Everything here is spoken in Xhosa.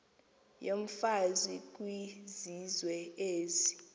yomfazi kwizizwe ezi